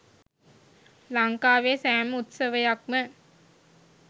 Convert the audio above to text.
ලංකාවේ සෑම උත්සවයක්ම